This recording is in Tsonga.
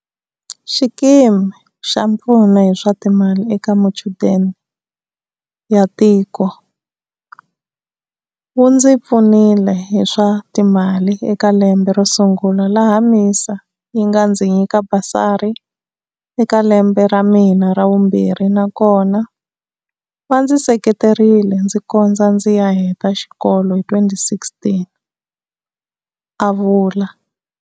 Xikimi xa Mpfuno hi swa Timali eka Machudeni ya Tiko wu ndzi pfunile hi swa timali eka lembe ro sungula laha MISA yi nga ndzi nyika basari eka lembe ra mina ra vumbirhi na kona va ndzi seketerile ndzi kondza ndzi ya heta xikolo hi 2016, a vula.